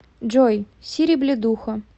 джой сири блядуха